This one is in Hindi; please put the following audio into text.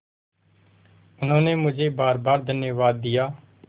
उन्होंने मुझे बारबार धन्यवाद दिया